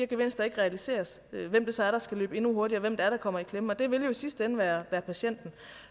gevinster ikke realiseres hvem er det så der skal løbe endnu hurtigere hvem er det der kommer i klemme og det vil jo i sidste ende være patienten